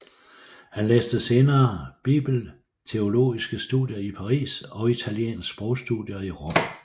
Han læste senere bibelteologiske studier i Paris og italiensk sprogstudier i Rom